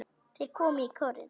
Þeir komu í kórinn.